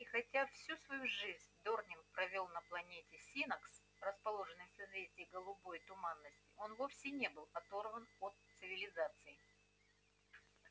и хотя всю свою жизнь дорник провёл на планете синнакс расположенной в созвездии голубой туманности он вовсе не был оторван от цивилизации